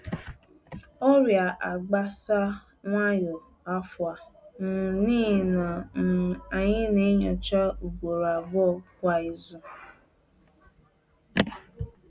Ọrịa agbasa nwayọ afọ a um n’ihi na um anyị na-enyocha ugboro abụọ kwa izu